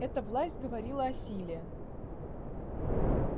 эта власть говорила о силе